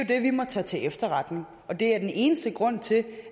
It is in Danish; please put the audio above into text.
det vi må tage til efterretning og det er den eneste grund til